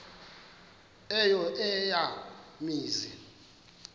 eyo eya mizi